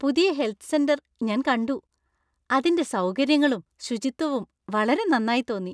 പുതിയ health centre ഞാൻ കണ്ടു, അതിന്റെ സൗകര്യങ്ങളും ,ശുചിത്വവും വളരെ നന്നായി തോന്നി.